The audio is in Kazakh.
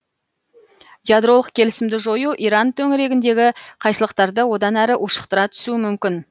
ядролық келісмді жою иран төңірегіндегі қайшылықтарды одан әрі ушықтыра түсуі мүмкін